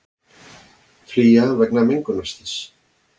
Flýja vegna mengunarslyss